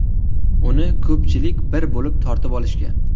Uni ko‘pchilik bir bo‘lib tortib olishgan.